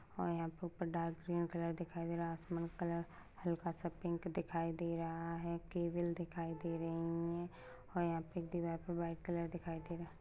और यहां पर ऊपर डार्क ग्रीन कलर दिखाई दे रहा है आसमान कलर हल्का सा पिक दिखाई दे रहा है केबल दिखाई दे रही है और यहां पे एक दीवार पर वाइट कलर दिखाई दे रा --